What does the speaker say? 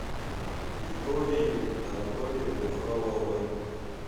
виктории анатольевны фроловой